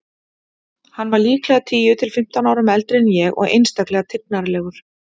Hann var líklega tíu til fimmtán árum eldri en ég og einstaklega tignarlegur.